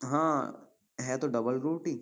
हाँ है तो डबल रोटी।